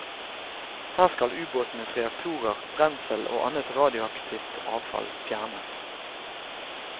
Her skal ubåtenes reaktorer, brensel og annet radioaktivt avfall fjernes.